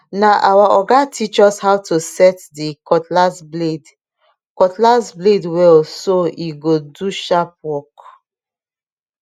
na our oga teach us how to set the cutlass blade cutlass blade well so e go do sharp work